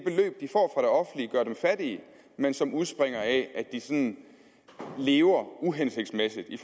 offentlige gør dem fattige men som udspringer af at de sådan lever uhensigtsmæssigt i